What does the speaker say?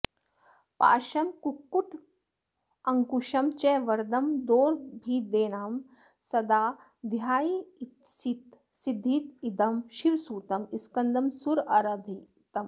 पाशं कुक्कुटमङ्कुशं च वरदं दोर्भिदेधानं सदा ध्यायामीप्सित सिद्धिदं शिवसुतं स्कन्दं सुराराधितम्